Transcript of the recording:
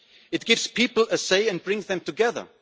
It gives people a say and brings them together.